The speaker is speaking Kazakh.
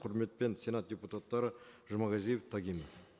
құрметпен сенат депутаттары жұмағазиев тагинов